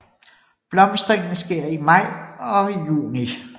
Blomstringen sker i maj og juni